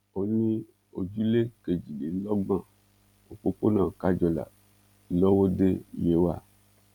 ó ní ojúlé kejìlélọ́gbọn òpópónà kájọlà lówódé yewa